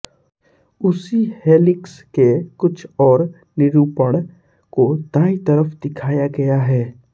उसी हेलिक्स के कुछ और निरूपण को दाईं तरफ दिखाया गया है